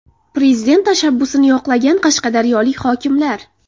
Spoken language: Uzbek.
Prezident tashabbusini yoqlagan qashqadaryolik hokimlar.